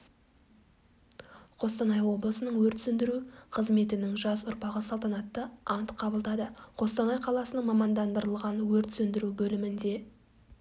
қостанай облысының өрт сөндіру қызметінің жас ұрпағы салтанатты ант қабылдады қостанай қаласының мамандандырылған өрт сөндіру бөлімінде